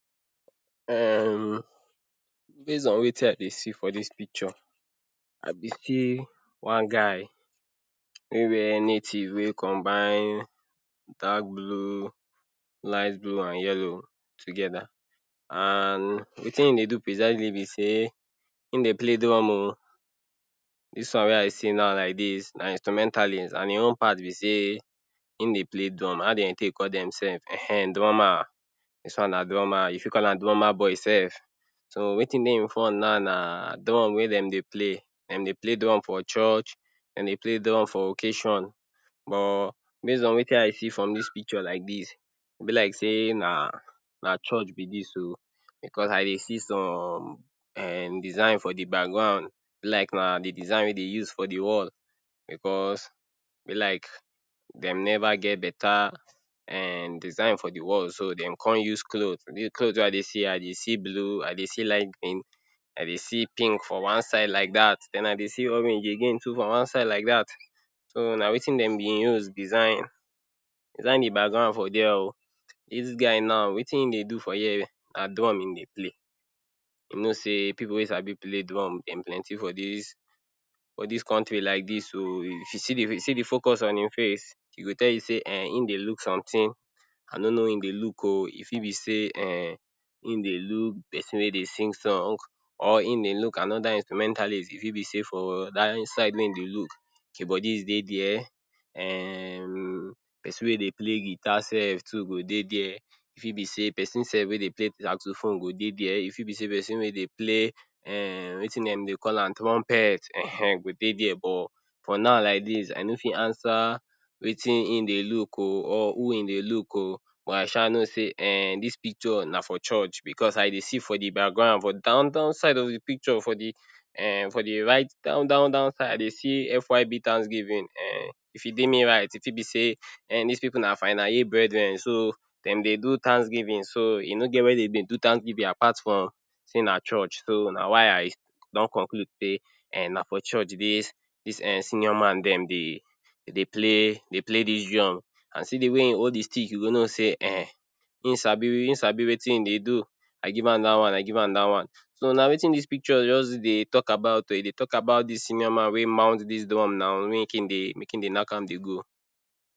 um Base on wetin I dey see for dis picture, I dey see one guy wey wear native wey combine dark blue, light blue, and yellow together. And wetin im do precisely be sey im dey play drum o. Dis one wey I see now like dis na instrumentalist and im own part be sey im dey play drum. How dem dey take call dem sef? um drummer. Dis one na drummer. You fit call am drummer boy sef. So wetin dey im front now na drum wey dem dey play. Dem dey play drum for church, dem dey play drum for occasion. But base on wetin I see from dis picture like dis, e be like sey na na church be dis o, because I dey see some um design for de background, e be like na de design wey dey use for de wall, because e be like dem never get beta um design for de wall so dem come use clothe. The clothe wey I dey see, I dey see blue, I dey light green, I dey see pink for one side like dat, den I dey see orange again too for one side like dat. So na wetin dem been use design design de background for there o. Dis guy now, wetin im dey do for here na drum im dey play. You know sey pipu wey sabi play drum dem plenty for dis for dis country like dis o. If you see de, see de focus on im face, e go tell you sey im dey look something. I no know who im dey look o. E fit be sey um im dey look pesin wey dey sing song, or im dey look another instrumentalist. E fit be sey for dat side wey im dey look, keyboardist dey there, um pesin wey dey play guitar sef too go dey there. E fit be sey pesin sef wey dey play taxophone go dey there. E fit be sey pesin wey dey play um wetin dem dey call am, trumpet um go dey there. But for now like dis I no fit answer wetin im dey look o, or who im dey look o, but I sha know sey um dis picture na for church because I dey see for de background for down down side of de picture, for de um for de right down down down side, I dey see FYB thanksgiving um. If e dey me right, e fit be sey um dis pipu na final year brethren, so dem dey do thanksgiving. So e no get where dem dey do thanksgiving apart from sey na church. So na why I don conclude sey um na for church dis dis um senior man dem dey, dey dey play, dey play dis drum. And see de way im hold de stick, you go know sey um im sabi im sabi wetin im dey do.I give am dat one, I give am dat one. So na wetin dis picture just dey talk about o. E dey talk about dis senior man wey mount dis drum now make im dey, make im dey nak am dey go.